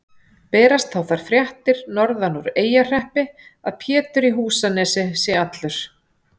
Berast þá þær fréttir norðan úr Eyjahreppi að Pétur í Húsanesi sé allur.